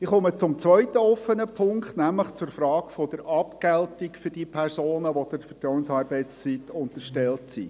Ich komme zum zweiten offenen Punkt, nämlich zur Frage der Abgeltung für diejenigen Personen, welche der Vertrauensarbeitszeit unterstellt sind.